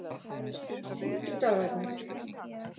fimmtudagarnir